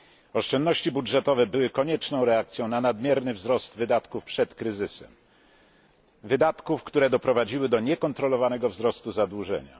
Oszczędności budżetowe były konieczną reakcją na nadmierny wzrost wydatków przed kryzysem, wydatków, które doprowadziły do niekontrolowanego wzrostu zadłużenia.